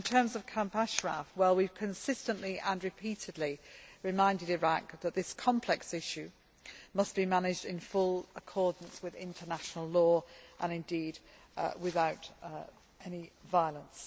In terms of Camp Ashraf, we have consistently and repeatedly reminded Iraq that this complex issue must be managed in full accordance with international law, and indeed without any violence.